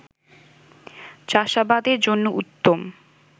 চাষাবাদের জন্য উত্তম